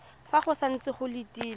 fa go santse go letilwe